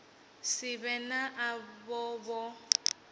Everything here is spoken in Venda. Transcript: si vhe na avho vho